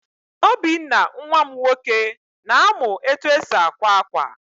Obinna nwa m nwoke, na-amụ etu esi àkwá ákwà.